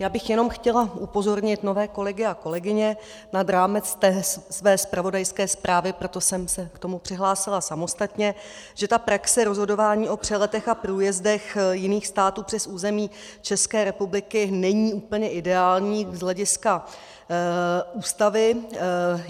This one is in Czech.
Já bych jenom chtěla upozornit nové kolegy a kolegyně nad rámec své zpravodajské zprávy, proto jsem se k tomu přihlásila samostatně, že ta praxe rozhodování o přeletech a průjezdech jiných států přes území České republiky není úplně ideální z hlediska Ústavy.